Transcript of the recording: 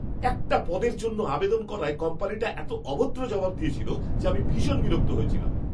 একটা পদের জন্য আবেদন করায় কোম্পানিটা এত অভদ্র জবাব দিয়েছিল যে আমি ভীষণ বিরক্ত হয়েছিলাম।